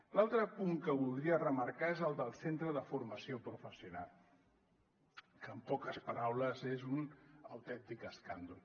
l’altre punt que voldria remarcar és el del centre de formació professional que en poques paraules és un autèntic escàndol